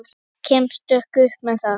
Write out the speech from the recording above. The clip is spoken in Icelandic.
Og kemst upp með það!